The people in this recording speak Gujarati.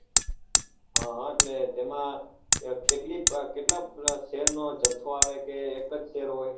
હા હા એટલે તેમાં કેટલી કેટલા share નો જાથો આવે કે એક જ share હોય